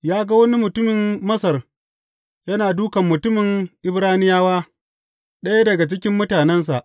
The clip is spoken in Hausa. Ya ga wani mutumin Masar yana dūkan mutumin Ibraniyawa, ɗaya daga cikin mutanensa.